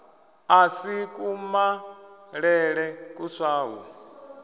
a si kumalele kuswa hu